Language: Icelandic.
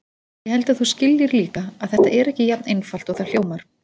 Ég held að þú skiljir líka að þetta er ekki jafn einfalt og það hljómar.